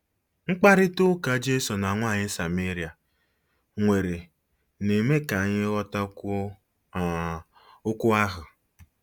Mkparịta ụka Jesu na nwaanyị Sameria nwere na-eme ka anyị ghọtakwuo um okwu ahụ.